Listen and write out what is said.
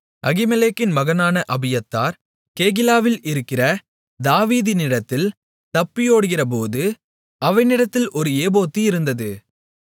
அகிமெலேக்கின் மகனான அபியத்தார் கேகிலாவில் இருக்கிற தாவீதினிடத்தில் தப்பியோடுகிறபோது அவனிடத்தில் ஒரு ஏபோத்து இருந்தது